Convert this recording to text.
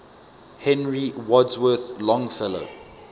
henry wadsworth longfellow